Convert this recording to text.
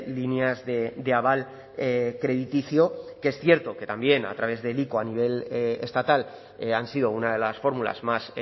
líneas de aval crediticio que es cierto que también a través del ico a nivel estatal han sido una de las fórmulas más